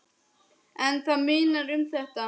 En það munar um þetta.